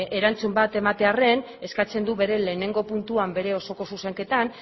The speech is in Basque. erantzun bat ematearren eskatzen du bere lehenengo puntua bere osoko zuzenketan